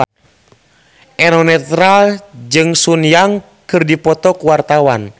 Eno Netral jeung Sun Yang keur dipoto ku wartawan